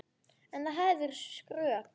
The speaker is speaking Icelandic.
En það hefði verið skrök.